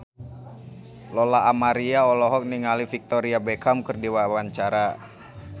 Lola Amaria olohok ningali Victoria Beckham keur diwawancara